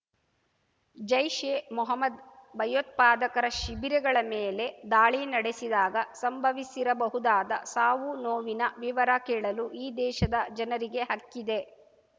ಜೈಷ್ಎಮೊಹಮ್ಮದ್ ಭಯೋತ್ಪಾದಕರ ಶಿಬಿರಗಳ ಮೇಲೆ ದಾಳಿ ನಡೆಸಿದಾಗ ಸಂಭವಿಸಿರಬಹುದಾದ ಸಾವುನೋವಿನ ವಿವರ ಕೇಳಲು ಈ ದೇಶದ ಜನರಿಗೆ ಹಕ್ಕಿದೆ